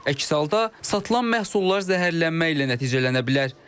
Əks halda satılan məhsullar zəhərlənməklə nəticələnə bilər.